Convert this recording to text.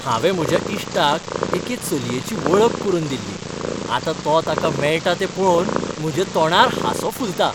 हांवें म्हज्या इश्टाक एके चलयेची वळख करून दिल्ली, आतां तो ताका मेळटा तें पळोवन म्हज्या तोंडार हांसो फुलता.